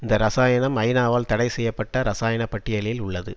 இந்த இரசாயனம் ஐநாவால் தடை செய்ய பட்ட இரசாயன பட்டியலில் உள்ளது